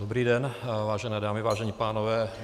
Dobrý den, vážené dámy, vážení pánové.